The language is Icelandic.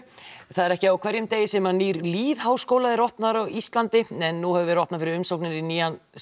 það er ekki á hverjum degi sem nýr lýðháskóli er opnaður á Íslandi nú hefur verið opnað fyrir umsóknir í nýjan